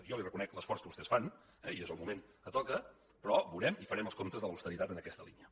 jo li reconec l’esforç que vostès fan eh i és el moment que toca però veurem i farem els comptes de l’austeritat en aquesta línia